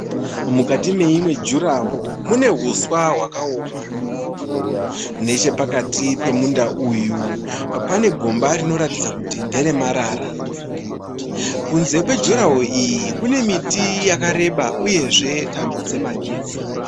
Mukati meimwe jurahowu mune huswa hwakaoma. Nechepakati pemunda uyu pane gomba rinoratidza kuti nderemarara. Kunze kwejurahowu iyi kune miti yakareba uyezve tambo dzemagetsi.